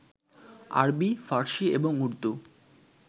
আরবী, ফার্সী এবং উর্দু